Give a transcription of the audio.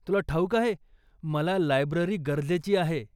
तुला ठाऊक आहे, मला लायब्ररी गरजेची आहे.